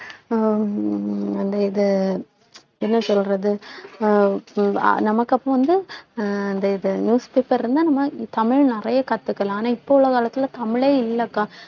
அஹ் அந்த இது என்ன சொல்றது அஹ் உம் அஹ் நமக்கு அப்போ வந்து அஹ் அந்த இது newspaper இருந்தா நம்ம தமிழ் நிறைய கத்துக்கலாம் ஆனா இப்ப உள்ள காலத்துல தமிழே இல்லக்கா